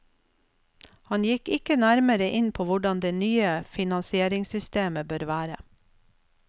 Han gikk ikke nærmere inn på hvordan det nye finansieringssystemet bør være.